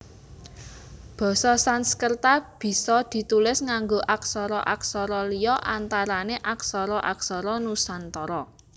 Basa Sansekerta bisa ditulis nganggo aksara aksara liya antarané aksara aksara Nusantara